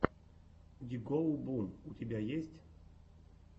ди гоу бум у тебя есть